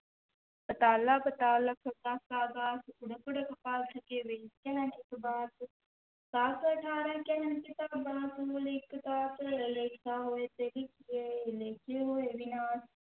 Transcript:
ਪਾਤਾਲਾ ਪਾਤਾਲ ਲਖ ਆਗਾਸਾ ਆਗਾਸ, ਓੜਕ ਓੜਕ ਭਾਲਿ ਥਕੇ ਵੇਦ ਕਹਨਿ ਇਕ ਵਾਤ, ਸਹਸ ਅਠਾਰਹ ਕਹਨਿ ਕਤੇਬਾ ਇਕੁ ਧਾਤੁ, ਲੇਖਾ ਹੋਇ ਤੇ ਲਿਖੀਐ ਲੇਖੈ ਹੋਇ ਵਿਣਾਸੁ,